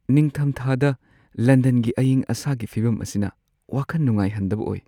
ꯅꯤꯡꯊꯝꯊꯥꯗ ꯂꯟꯗꯟꯒꯤ ꯑꯌꯤꯡ-ꯑꯁꯥꯒꯤ ꯐꯤꯚꯝ ꯑꯁꯤꯅ ꯋꯥꯈꯟ ꯅꯨꯡꯉꯥꯏꯍꯟꯗꯕ ꯑꯣꯏ ꯫